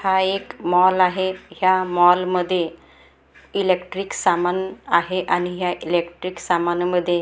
हा एक मॉल आहे ह्या मॉल मध्ये इलेक्ट्रिक सामान आहे आणि ह्या इलेक्ट्रिक सामानामध्ये--